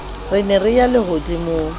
re ne re ya lehodimong